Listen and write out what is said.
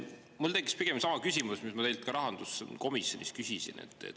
Mul tekkis sama küsimus, mis ma küsisin teilt rahanduskomisjonis.